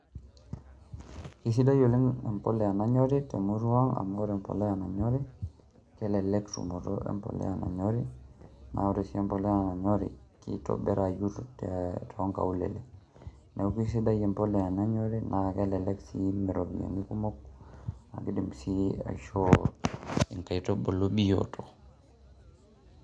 Kesidai oleng' embolea nanyori te murua amu kore embolea nanyori kelelek tumoto embolea nanyori, naa ore sii embolea nanyori kitobirayu to nkaulele. Neeku sidai embolea nanyori naa kelelek sii mee ropiani kumok naake idim sii aishoo nkaitubulu bioto.